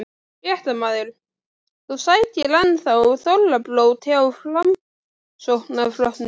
Fréttamaður: Þú sækir enn þá þorrablót hjá Framsóknarflokknum?